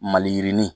Mali yirinin